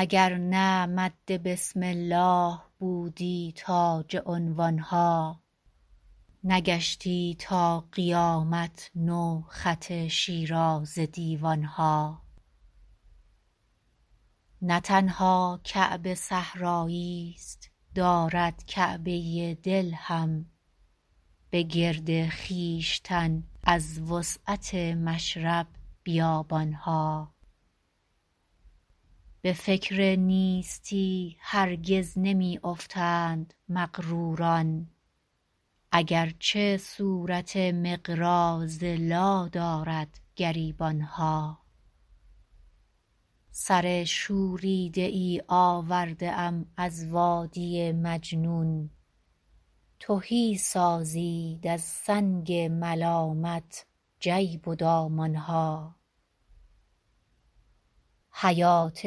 اگر نه مد بسم الله بودی تاج عنوان ها نگشتی تا قیامت نو خط شیرازه دیوان ها نه تنها کعبه صحرایی ست دارد کعبه دل هم به گرد خویشتن از وسعت مشرب بیابان ها به فکر نیستی هرگز نمی افتند مغروران اگرچه صورت مقراض لا دارد گریبان ها سر شوریده ای آورده ام از وادی مجنون تهی سازید از سنگ ملامت جیب و دامان ها حیات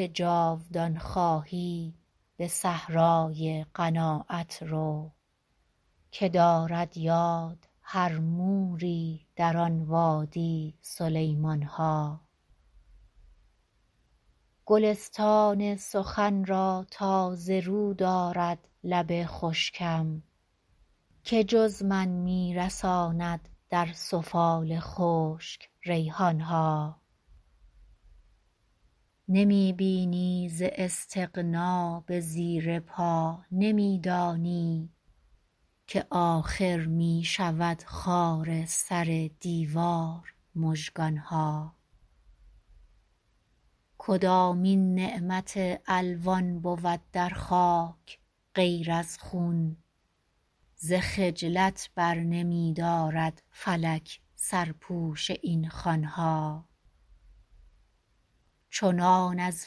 جاودان خواهی به صحرای قناعت رو که دارد یاد هر موری در آن وادی سلیمان ها گلستان سخن را تازه رو دارد لب خشکم که جز من می رساند در سفال خشک ریحان ها نمی بینی ز استغنا به زیر پا نمی دانی که آخر می شود خار سر دیوار مژگان ها کدامین نعمت الوان بود در خاک غیر از خون ز خجلت برنمی دارد فلک سرپوش این خوان ها چنان از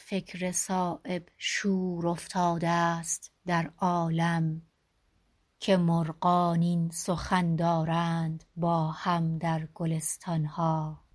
فکر صایب شور افتاده ست در عالم که مرغان این سخن دارند با هم در گلستان ها